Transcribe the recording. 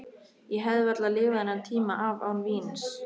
Ég hefði varla lifað þennan tíma af án víns.